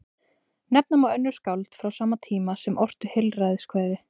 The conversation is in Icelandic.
Nefna má önnur skáld frá sama tíma sem ortu heilræðakvæði.